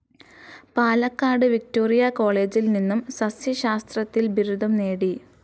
Palakkad Victoria കോളേജിൽ നിന്നും സസ്സ്യശാസ്ത്രത്തിൽ ബിരുദം നേടി.